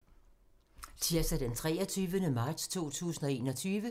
Tirsdag d. 23. marts 2021